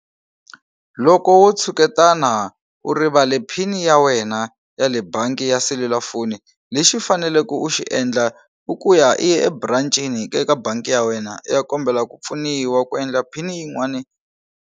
Loko wo tshuketana u rivale PIN ya wena ya le bangi ya selulafoni lexi u faneleke u xi endla i ku ya i ya eburancini ka eka bangi ya wena i ya kombela ku pfuniwa ku endla PIN yin'wani.